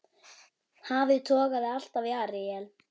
Hafið togaði alltaf í Aríel.